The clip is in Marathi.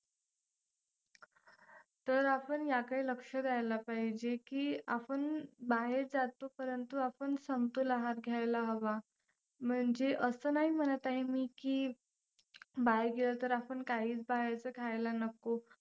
तर आपण याकडे लक्ष द्यायला पाहिजे की आपण बाहेर जातो परंतु आपण समतोल आहार घ्यायला हवा. म्हणजे असं नाही म्हणत आहे मी की बाहेर गेलं तर आपण काहीच बाहेरचं खायला नको,